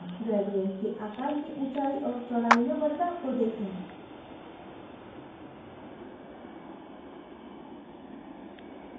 gradient के आकार की ऊँचाई और चौडा़ई में बदलाव को देखें